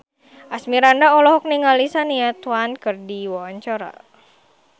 Asmirandah olohok ningali Shania Twain keur diwawancara